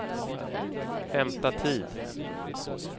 hämta tid